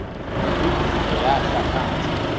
udubo yahla phantsi